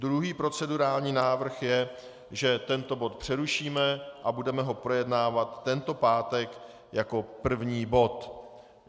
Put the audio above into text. Druhý procedurální návrh je, že tento bod přerušíme a budeme ho projednávat tento pátek jako první bod.